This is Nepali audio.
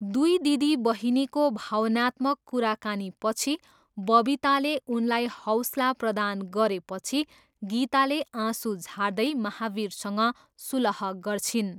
दुई दिदीबहिनीको भावनात्मक कुराकानीपछि बबिताले उनलाई हौसला प्रदान गरेपछि गीताले आँसु झार्दै महावीरसँग सुलह गर्छिन्।